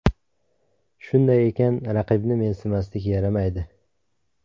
Shunday ekan, raqibni mensimaslik yaramaydi.